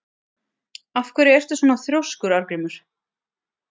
Af hverju ertu svona þrjóskur, Arngrímur?